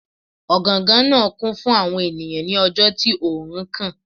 Ọgangan naa kun fun awọn eniyan ni ọjọ ti oorun kan.